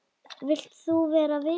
Vilt þú vera vinur minn?